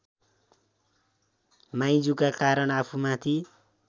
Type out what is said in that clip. माइजूका कारण आफूमाथि